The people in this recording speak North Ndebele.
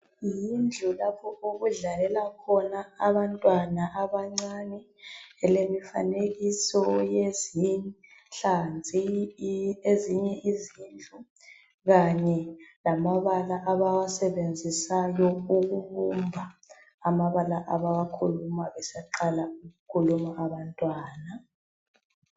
Yindlu lapho okudlalela khona abantwana abancane elemifanekiso eyezinhlanzi, ezinye izindlu kanye lamabala abawasebenzisayo ukubumba amabala.